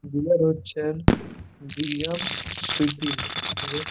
বিয়ের হরচেন দুজন স্মৃতির রে--